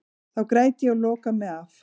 Þá græt ég og loka mig af.